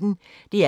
DR P1